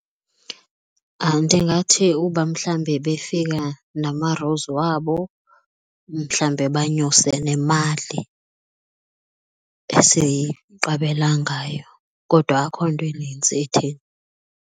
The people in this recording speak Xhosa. Ndingathi uba mhlawumbi befika namarulzi wabo mhlawumbe banyuse nemali, esiqabela ngayo kodwa akukho nto inintsi itheni.